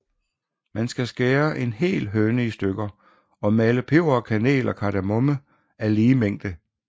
Man skal skære en hel høne i stykker og male peber og kanel og kardemomme af lige mængde